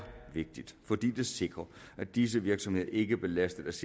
vigtigt fordi det sikrer at disse virksomheder ikke belastes